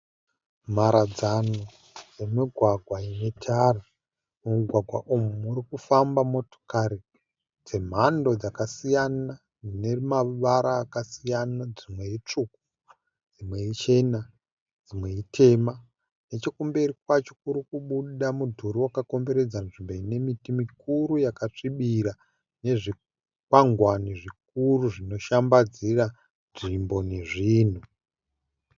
Mharadzano yemugwagwa ine tara. Mumugwagwa umu murikufamba motokari dzemhando dzakasiyana dzinemavara akasiyana dzimwe itsvuku dzimwe ichena dzimwe itema. Nechekumberi kwacho kurikubuda mudhuri wakakomberedza nzvimbo ine miti mikuru yakasvibira nezvikwangwani zvikuru zvinoshambadzira nzvimbo nezvhinhu.